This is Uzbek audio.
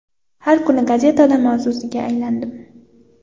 Har kuni gazetada mavzusiga aylanardim.